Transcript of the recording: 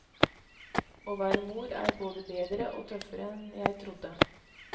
Å være mor er både bedre og tøffere enn jeg trodde.